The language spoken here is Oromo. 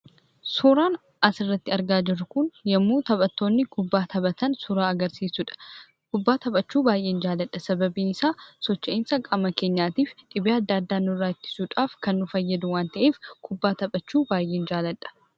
Suuraan asirratti argaa jirru kun yommuu taphatoonni kubbaa taphatan suuraa agarsiisuu dha. Kubbaa taphachuu baay'een jaalladha. Sababiin isaa, socho'iinsa qaama keenyaatii fi dhibee adda addaa nurraa ittisuudhaaf kan nu fayyadu waan ta'eef kubbaa taphachuu baay'een jaalladha.